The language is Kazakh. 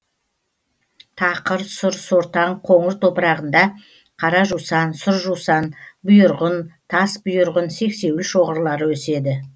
тақыр сұр сортаң қоңыр топырағында қара жусан сұр жусан бұйырғын тасбұйырғын сексеуіл шоғырлары өседі